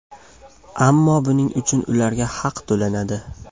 Ammo buning uchun ularga haq to‘lanadi.